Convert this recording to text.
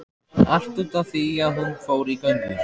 Allt út af því að hún fór í göngu